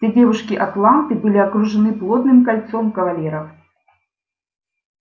все девушки атланты были окружены плотным кольцом кавалеров